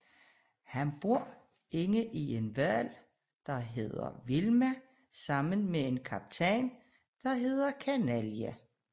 Han bor inde i en hval som hedder Vilma sammen med en kaptajn der hedder Kanalje